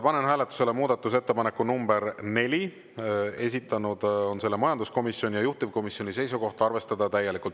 Panen hääletusele muudatusettepaneku nr 4, esitanud on selle majanduskomisjon ja juhtivkomisjoni seisukoht on arvestada täielikult.